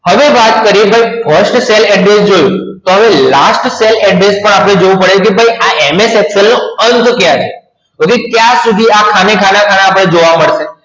હવે વાત કરીયે first cell address જોયું તો last cell address જોવું પડે કે MS Excel નો અંત ક્યારે તો ભાઈ કયાર સુધી આ ખાના ખાના જોવા પડે